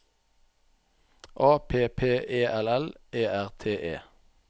A P P E L L E R T E